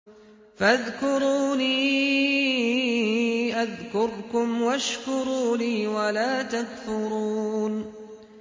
فَاذْكُرُونِي أَذْكُرْكُمْ وَاشْكُرُوا لِي وَلَا تَكْفُرُونِ